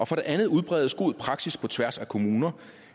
for det andet udbredes god praksis på tværs af kommuner